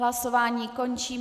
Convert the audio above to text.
Hlasování končím.